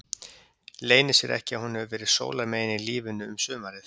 Leynir sér ekki að hún hefur verið sólarmegin í lífinu um sumarið.